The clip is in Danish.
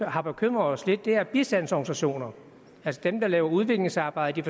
har bekymret os lidt er bistandsorganisationer altså dem der laver udviklingsarbejde i